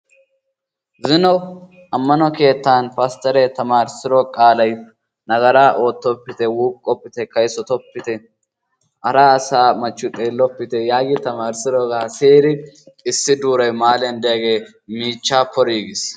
zino ammano keettan pasteree tamaarissido qaalay nagaaraa ootoppite, wuuqoppite, kayssottopite, hara asaa machchiyo xeelloppite giidi tamaarisiddogaa siyidi issi duuray mahaaliyan diyagee miichchaa pori agiis.